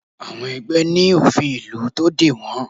Àwọn ẹgbẹ́ ní òfin ìlú tó dè wọ́n